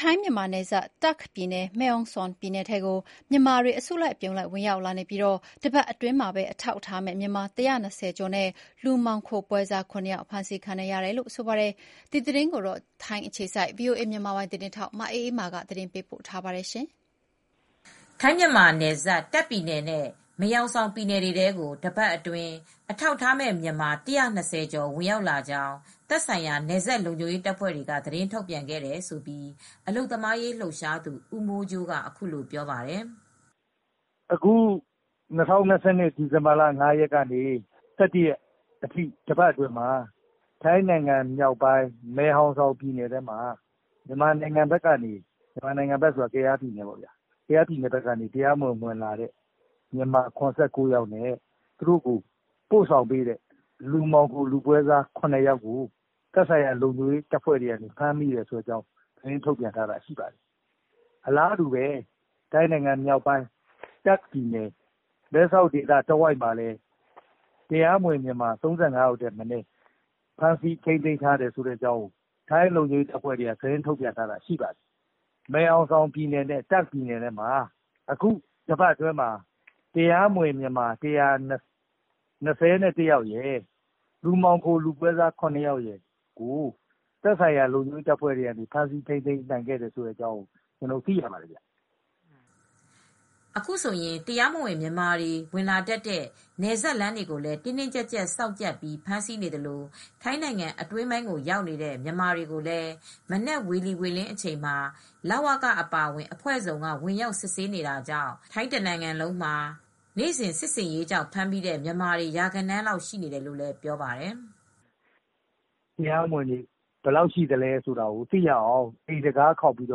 ထိုင်း မြန်မာနယ်စပ် တာ့ခ်ပြည်နယ်၊ မယ်ဟောင်ဆောင် ပြည်နယ်ထဲကို မြန်မာနိုင်ငံဘက်က အများအပြား ဝင်ရောက်လာနေပြီး ဒီဇင်ဘာလ ဒုတိယ သီတင်းပတ် အတွင်းမှာဘဲ အထောက်အထားမဲ့ မြန်မာ ၁၂၀ ကျော်နဲ့ လူမှောင်ခို ပွဲစား ၇ ဦး ဖမ်းခံရတယ်လို့ အလုပ်သမားရေး လှုပ်ရှားသူတွေက ပြောပါတယ်။ ဒီသတင်းကိုတော့ ဗွီအိုအေ သတင်းထောက် မအေးအေးမာက သတင်းပေးပို့ထားပါတယ်။ ထိုင်း- မြန်မာနယ်စပ် တာ့ခ်ပြည်နယ်နဲ့ မယ်ဟောင်ဆောင် ပြည်နယ်တွေထဲကို တပတ်အတွင်း အထောက်အထားမဲ့ မြန်မာ ၁၂၀ ကျော် ဝင်ရောက်လာကြောင်း သက်ဆိုင်ရာ နယ်စပ်လုံခြုံရေး တပ်ဖွဲ့တွေက သတင်း ထုတ်ပြန်ခဲ့တယ်လို့ အလုပ်သမားရေး လှုပ်ရှားသူ ဦးမိုးကြိုးက အခုလို ပြောပါတယ်။ “ ၂၀၂၂ ဒီဇင်ဘာလ ၅ ရက်နေ့ ကနေ ၁၁ ရက်နေ့ အထိ တပတ်အတွင်းမှာ ထိုင်းနိုင်ငံမြောက်ပိုင်း မယ်ဟောင်ဆောင် ပြည်နယ်ထဲမှာ မြန်မာနိုင်ငံ ကယားပြည်နယ် ဘက်ကနေ ဝင်လာတဲ့ တရားမဝင် မြန်မာ ၇၉ ယောက်နဲ့ သူတို့ကို ပို့ဆောင်ပေးတဲ့ လူမှောင်ခိုသမား ၇ ယောက်ကို သက်ဆိုင်ရာ လုံခြုံရေး တပ်ဖွဲ့တွေက ဖမ်းမိခဲ့ပါတယ်။ အလားတူ တာ့ခ်ပြည်နယ် မဲဆောက်မှာလည်း တရားမဝင် ၃၅ ယောက်ကို ဖမ်းမိတဲ့ အကြောင်းကို သတင်းထုတ်ပြန်ထားပါတယ်။ မယ်ဟောင်ဆောင်နဲ့ တာ့ခ်ပြည်နယ်မှာ အခုတပတ်အတွင်း တရားမဝင် မြန်မာ ၁၂၁ ယောက်နဲ့ လူမှောင်ခိုသမား ၇ ယောက်ကို ဖမ်းမိတယ်လို့သိရပါတယ်။ ” အခုဆိုရင် တရားမဝင် မြန်မာတွေ ဝင်လာတတ်တဲ့ နယ်စပ် လမ်းတွေကိုလည်း တင်းတင်းကြပ်ကြပ် စောင့်ကြပ်ပြီး ဖမ်းဆီးနေသလို ထိုင်းနိုင်ငံအတွင်းပိုင်းကို ရောက်နေတဲ့ မြန်မာတွေကိုလည်း မနက် ဝေလီဝေလင်း အချိန်မှာ လဝက အပါအဝင် အဖွဲ့စုံက ဝင်ရောက်စစ်ဆေးနေတာကြောင့် ထိုင်းတနိုင်ငံလုံးမှာ စစ်ဆင်ရေးကြောင့်ဖမ်းမိတဲ့ မြန်မာတွေ ရာဂဏန်းလောက် ရှိနေတယ်လို့လည်း ပြောပါတယ်။ “ တရားမဝင်တွေ ဘယ်လောက်ရှိလဲ သိရအောင် မနက် ၅ နာရီလောက် ကနေ အိမ်တံခါးခေါက်ပြီး မန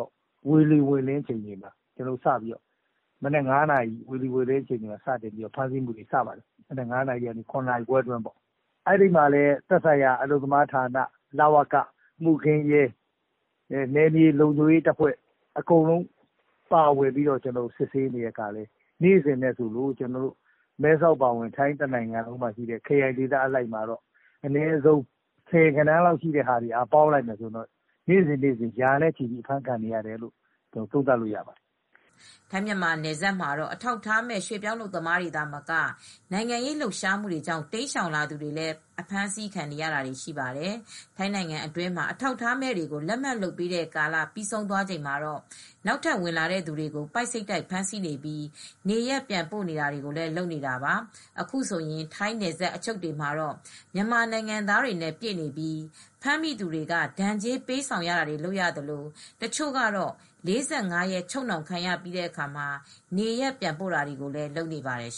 က် ဝေလီဝေလင်း အချိန်က ဖမ်းဆီးနေတာတွေလည်း ရှိတယ်။ မနက် ၅ နာရီ ကနေ ၇ နာရီခွဲလောက်အတွင်းမှာပေါ့။ အဲဒီမှာလည်း သက်ဆိုင်ရာ အလုပ်သမားဌာန၊ လဝက၊ မှုခင်းရဲ၊ နယ်မြေလုံခြုံရေးတပ်ဖွဲ့ အကုန်လုံး စစ်ဆေးတာ နေစဉ်ဆိုသလို ကျနော်တို့မဲဆောက်အပါအဝင် ခရိုင်ဒေသ အားလုံးမှာ ဆယ်ဂဏန်းလောက်တွေ ပေါင်းမယ်ဆိုရင် နေ့စဉ် ရာဂဏန်းနဲ့ အဖမ်းခံနေရတယ်လို့ သုံးသပ်လို့ရပါတယ်။” ထိုင်း - မြန်မာ နယ်စပ်မှာတော့ အထောက်အထားမဲ့ ရွှေပြောင်းအလုပ်သမားတွေ သာမက နိုင်ငံရေး လှုပ်ရှားမှုတွေကြောင့် တိမ်းရှောင်လာသူတွေလည်း အဖမ်းဆီးခံနေရတာတွေ ရှိပါတယ်။ ထိုင်းနိုင်ငံအတွင်းမှာ အထောက်အထားမဲ့တွေကို လက်မှတ်လုပ်ပေးတဲ့ ကာလ ပြီးဆုံးသွားချိန်မှာ နောက်ထပ် ဝင်လာတဲ့သူတွေကို ပိုက်စိပ်တိုက် ဖမ်းဆီးနေပြီး နေရပ်ပြန်ပို့နေတာတွေလည်း လုပ်နေတာပါ။ အခုဆိုရင် ထိုင်းနယ်စပ် အချုပ်တွေမှာတော့ မြန်မာနိုင်ငံသားတွေနဲ့ ပြည့်နေပြီး ဖမ်းမိသူတွေက ဒဏ်ကြေး ပေးဆောင်တာတွေ လုပ်ရသလို တချို့ကတော့ ၄၅ ရက်ချုပ်နှောင်ခံရပြီးတဲ့အခါ နေရပ်ပြန်ပို့တာတွေကိုလည်း လုပ်နေပါတယ်